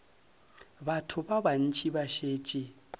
batho ba bantši ba šetše